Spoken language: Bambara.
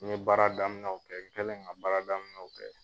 N ye baara daminɛw kɛ n kɛlen ka baara daminɛw kɛ